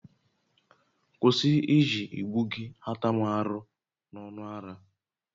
Kwụsị iji igbu gị ata m arụ n'ọnụ ara!